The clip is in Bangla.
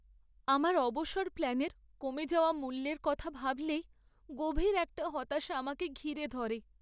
আমার অবসর প্ল্যানের কমে যাওয়া মূল্যের কথা ভাবলেই গভীর একটা হতাশা আমাকে ঘিরে ধরে।